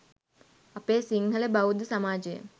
අපේ සිංහල බෞද්ධ සමාජය